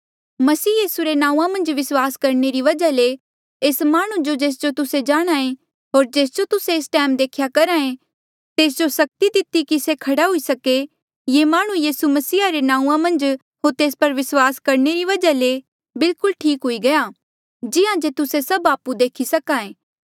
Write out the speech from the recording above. मसीह यीसू रे नांऊँआं मन्झ विस्वास करणे री वजहा ले एस माह्णुं जो जेस जो तुस्से जाणहां ऐें होर जेस जो तुस्से एस टैम देख्या करहा एे तेस जो सक्ति दिती कि से खड़ा हुई सके ये माह्णुं यीसू मसीहा रे नाऊँ मन्झ होर तेस पर विस्वास करणे री वजहा ले बिल्कुल ठीक हुई गया जिहां जे तुस्से सभ आपु देखी सक्हा ऐें